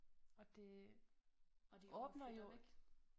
Og det åbner jo